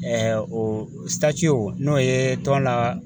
o n'o ye tɔn la